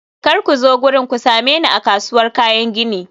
kar ku zo wurin, ku same ni a kasuwar kayan gini.